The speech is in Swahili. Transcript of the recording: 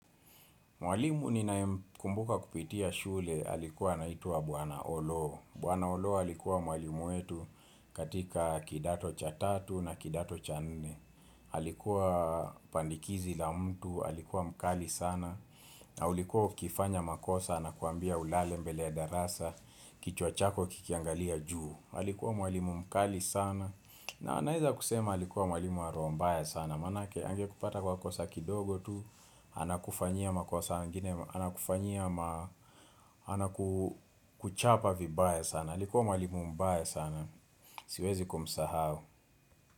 Mwalimu ni naye mkumbuka kupitia shule alikuwa naituwa bwana Oloo. Buwana Oloo alikuwa mwalimu wetu katika kidato cha tatu na kidato cha nne. Alikuwa pandikizi la mtu, alikuwa mkali sana. Na ulikuwa ukifanya makosa na anakuambia ulale mbele ya darasa, kichwa chako kikiangalia juu. Halikuwa mwalimu mkali sana. Na naweza kusema alikuwa mwalimu roho mbaya sana. Na maanake ange kupata kwa kosa kidogo tu, anakufanyia makosa ingine, anakufanyia ma, anakuchapa vibaye sana. Alikuwa mwalimu mbay sana. Siwezi kumsahau.